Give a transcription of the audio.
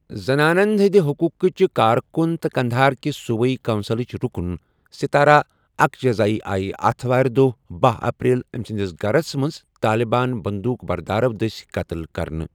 زنانَن ہٕنٛدِ حقوقٕچہِ کارکُن تہٕ قندھاركہِ صوبٲئی کونسلٕچ رُکُن سِتارہ اکجزایی آیہ اتھٕوارِ دۄہ بہہَ اپریل أمہِ سٕنٛدِس گَھرس منز طالبان بنٛدوٗک بردارَو دٔسۍ قتٕل کٔرنہٕ ۔